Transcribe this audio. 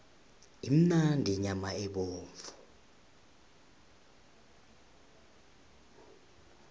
imnandi inyama yemvu